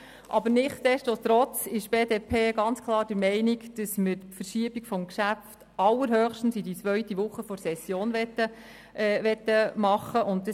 Aber nichtsdestotrotz ist die BDP klar der Meinung, dass wir das Geschäft allerhöchstens in die zweite Woche der Session verschieben wollen.